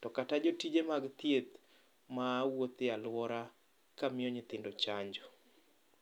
to kata jotije mag thieth mawuotho e aluora kamiyo nyithindo chanjo.